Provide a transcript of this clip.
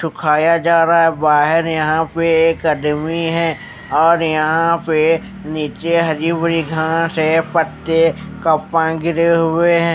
तो खाया जा रहा बाहर यहां पे एक अदमी है और यहां पे नीचे हरी भरी घास हैं पत्ते गिरे हुए हैं।